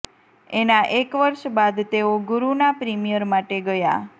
એના એક વર્ષ બાદ તેઓ ગુરુના પ્રીમિયર માટે ગયા